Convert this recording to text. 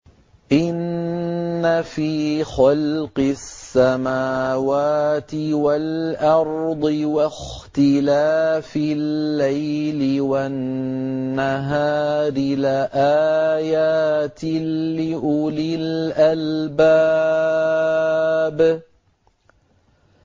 إِنَّ فِي خَلْقِ السَّمَاوَاتِ وَالْأَرْضِ وَاخْتِلَافِ اللَّيْلِ وَالنَّهَارِ لَآيَاتٍ لِّأُولِي الْأَلْبَابِ